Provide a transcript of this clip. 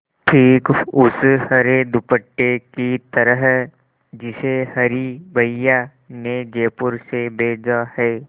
ठीक उस हरे दुपट्टे की तरह जिसे हरी भैया ने जयपुर से भेजा है